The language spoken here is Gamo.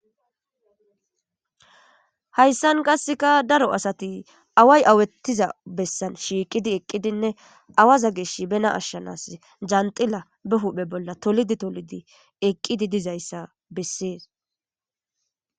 Hayssan qasseka daro asati away awettiza bessan shiiqidi eqqidinne awaza geesh bena ashshanas janxila be huphe bolla tolidi tolidi eqqidi dizayssa bessees.